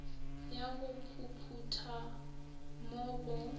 ya go phuphutha mo go